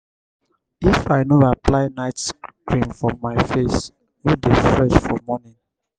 if i no apply night cream my face no dey fresh for morning.